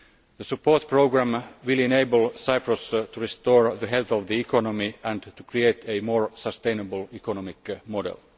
The support programme will enable Cyprus to restore the health of the economy and to create a more sustainable economic model.